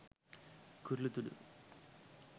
කුරුළු තුඩු